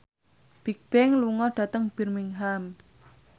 Bigbang lunga dhateng Birmingham